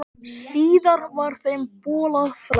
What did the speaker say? Síðar var þeim bolað frá.